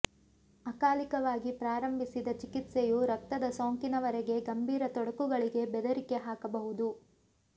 ಅಕಾಲಿಕವಾಗಿ ಪ್ರಾರಂಭಿಸಿದ ಚಿಕಿತ್ಸೆಯು ರಕ್ತದ ಸೋಂಕಿನವರೆಗೆ ಗಂಭೀರ ತೊಡಕುಗಳಿಗೆ ಬೆದರಿಕೆ ಹಾಕಬಹುದು